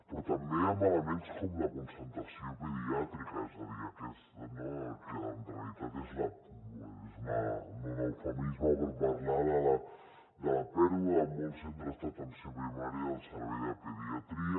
però també amb elements com la concentració pediàtrica que en realitat és no un eufemisme per parlar de la pèrdua a molts centres d’atenció primària del servei de pediatria